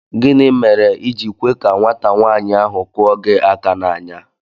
Gịnị mèrè i ji kwé ka nwata nwaanyị ahụ kụọ gị áká n'anya?